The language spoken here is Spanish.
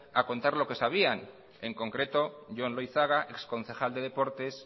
a contar lo que sabían en concreto jon loizaga exconcejal de deportes